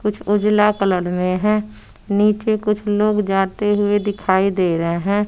कुछ उजला कलर में है नीचे कुछ लोग जाते हुए दिखाई दे रहे हैं।